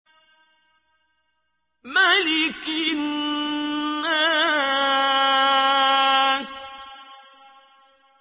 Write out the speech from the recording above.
مَلِكِ النَّاسِ